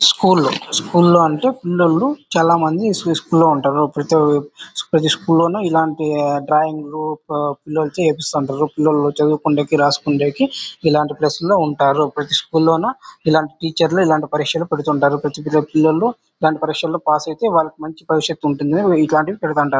School లో school లో అంటే పిల్లలు చాలామంది స్కూల్ లో ఉంటారు ప్రతి ప్రతి స్కూల్ లో ఇలాంటి డ్రాయింగ్ లు కో పో పిల్లలతో చెప్పిస్తుంటారు పిల్లలో చదువుకుండానికి రాసుకుందానికి ఇలాంటి ప్లేస్ ల్లో ఉంటారు ప్రతి స్కూలో న ఇలాంటి టీచర్ లి ఇలాంటి పరీక్షలు పెడ్తుంటారు పిల్లలు ఇలాంటి పరీక్షల్లో పాస్ ఐతే వాళ్ళకి మంచి భవిష్యత్తు ఉంటుంది ఇట్లాంటివి పెడ్తుంటారు.